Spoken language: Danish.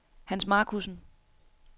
Hans Markussen